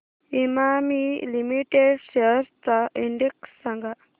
Emami limited shares चा index सांगा